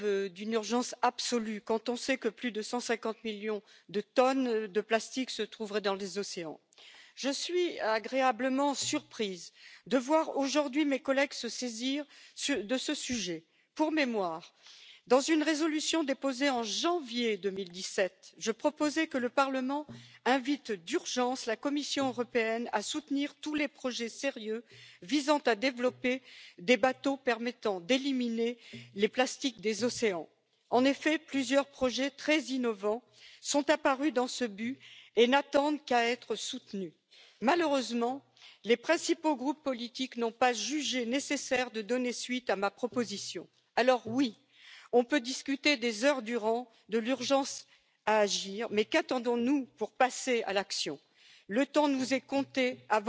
irgendwie machbar ist. Die Frage ist ja Wie können wir Firmen animieren, mit weniger Materialverbrauch aufzutreten? Wie können wir sie animieren, bei Standards schon diesen Vermeidungsaspekt einzubauen? Die Ökodesign Richtlinie muss auch auf Plastikprodukte ausgeweitet werden. Wie können wir erreichen, dass wir mit Steuersätzen etwas fördern, was wir wollen, und dann gewisse Sorten von Plastikverwendung auch behindern? Wir brauchen auch größere Öffentlichkeitskampagnen, damit die Bürger wissen, wie diese Produkte behandelt und entsorgt werden. Und ich will auch noch eins sagen Wenn wir Ersatzmaterialien nutzen, dann müssen wir auch genau schauen, ob die wirklich besser sind. Da gibt es auch vieles, was vielleicht gar nicht so gut